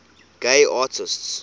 gay artists